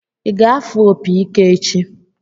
Ị ga-afụ opi ike echi?